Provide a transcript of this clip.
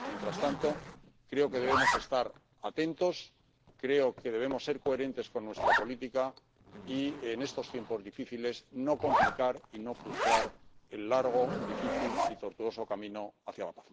Mientras tanto, creo que debemos estar atentos, creo que debemos ser coherentes con nuestra política y, en estos tiempos difíciles, no complicar y no frustrar el largo, difícil y tortuoso camino hacia la